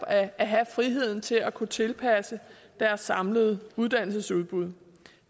at have friheden til at kunne tilpasse deres samlede uddannelsesudbud